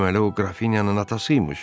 Deməli o qrafinyanın atası imiş?